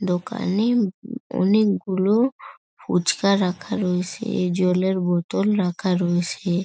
দোকানে অনেকগুলো ফুচকা রাখা রয়েছে জলের বোতল রাখা রয়েছে ।